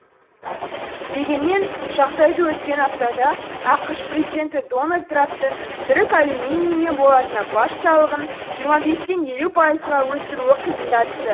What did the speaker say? дегенмен жағдайды өткен аптада ақш президенті дональд трамптың түрік алюминийі мен болатына баж салығын жиырма бестен елу пайызға өсіруі қиындатты